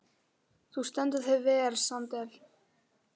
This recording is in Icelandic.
Þú stendur þig vel, Sandel!